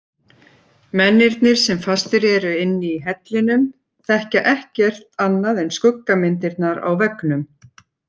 Mennirnir sem fastir eru inni í hellinum þekkja ekkert annað en skuggamyndirnar á veggnum.